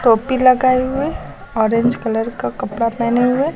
टोपी लगाए हुए ऑरेंज कलर का कपड़ा पहने हुए--